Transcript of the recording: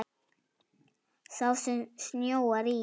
Sá sem snjóar í.